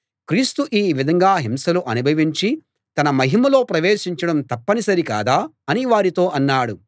క్రీస్తు ఈ విధంగా హింసలు అనుభవించి తన మహిమలో ప్రవేశించడం తప్పనిసరి కాదా అని వారితో అన్నాడు